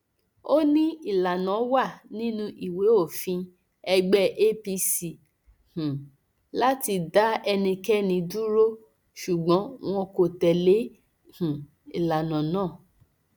ó ní ìlànà wà nínú ìwé òfin ẹgbẹ apc um láti dá ẹnikẹni dúró ṣùgbọn wọn kò tẹlé um ìlànà náà